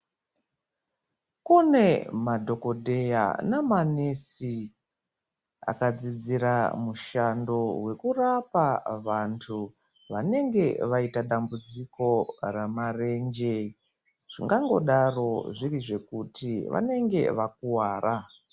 Kune madhokodheya namanesi akadzidzira mushando wekurapa vantu vanenge vaita dambudziko ramarenje, zvingangodaro zviri zvekuti vanenge vakuvara.